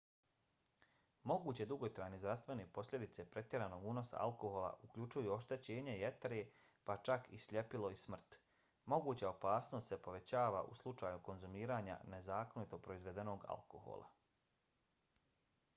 moguće dugotrajne zdravstvene posljedice pretjeranog unosa alkohola uključuju oštećenje jetre pa čak i sljepilo i smrt. moguća opasnost se povećava u slučaju konzumiranja nezakonito proizvedenog alkohola